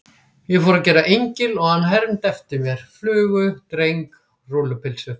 Ég fór að gera engil og hann hermdi eftir mér: flugu, dreng, rúllupylsu.